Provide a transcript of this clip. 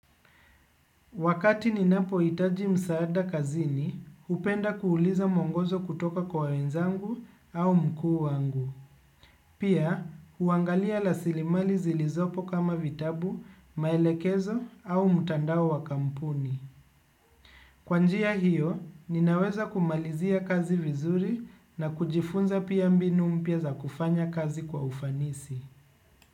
Wakati ninapohitaji msaada kazini, hupenda kuuliza mwongozo kutoka kwa wenzangu au mkuu wangu. Pia, huangalia rasilimali zilizopo kama vitabu, maelekezo au mtandao wa kampuni. Kwa njia hiyo, ninaweza kumalizia kazi vizuri na kujifunza pia mbinu mpya za kufanya kazi kwa ufanisi.